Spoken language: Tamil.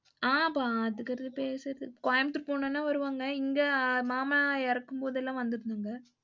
அ பாத்துகிட்டு பேசிக்கிட்டு கோயம்புத்தூர் போனா வருவாங்க, இங்க மாமா இறக்கும்போதேல்லாம் வந்திருந்தாங்க.